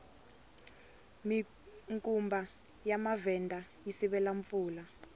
minkumba ya mavhenda yi sivela mpfula